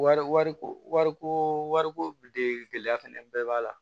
Wari wari ko wariko wariko de gɛlɛya fɛnɛ bɛɛ b'a la